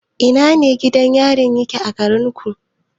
A ina gidan yari yake a garinku?